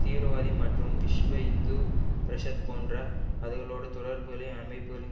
தீவிரவாதி மற்றும் விஸ்வ இந்து பரிஷத் போன்ற அதுலோடு தொடர்புகளை அமைப்புக்களின்